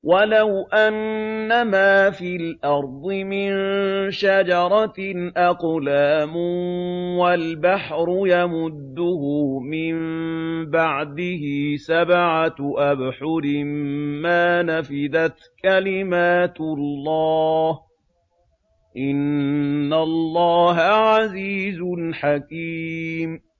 وَلَوْ أَنَّمَا فِي الْأَرْضِ مِن شَجَرَةٍ أَقْلَامٌ وَالْبَحْرُ يَمُدُّهُ مِن بَعْدِهِ سَبْعَةُ أَبْحُرٍ مَّا نَفِدَتْ كَلِمَاتُ اللَّهِ ۗ إِنَّ اللَّهَ عَزِيزٌ حَكِيمٌ